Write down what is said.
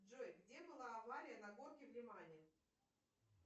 джой где была авария на горке в лемане